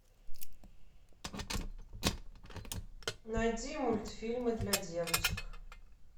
найди мультфильмы для девочек